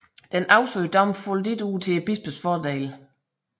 Den afsagte dom faldt ikke ud til bispens fordel